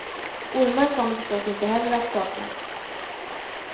Ormar kommer förstås inte heller att saknas.